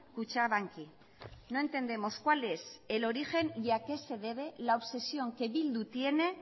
kutxabanki no entendemos cuál es el origen y a qué se debe la obsesión que bildu tiene